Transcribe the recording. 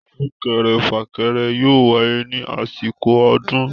Súkere fàkẹrẹ yóò wáyé ní àsìkò ọdún